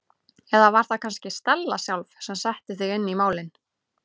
Eða var það kannski Stella sjálf sem setti þig inn í málin?